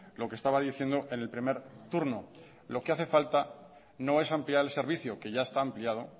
lo que estaba diciendo en el primer turno lo que hace falta no es ampliar el servicio que ya está ampliado